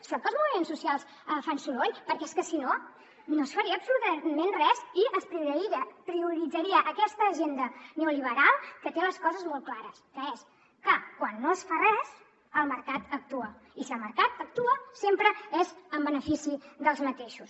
sort que els moviments socials fan soroll perquè és que si no no es faria absolutament res i es prioritzaria aquesta agenda neoliberal que té les coses molt clares que és que quan no es fa res el mercat actua i si el mercat actua sempre és en benefici dels mateixos